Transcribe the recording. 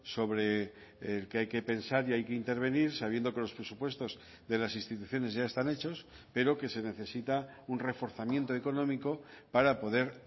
sobre el que hay que pensar y hay que intervenir sabiendo que los presupuestos de las instituciones ya están hechos pero que se necesita un reforzamiento económico para poder